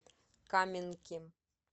каменки